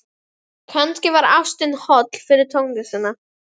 Kannski var ástin holl fyrir tónlistina.